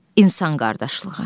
İnsan qardaşlığı.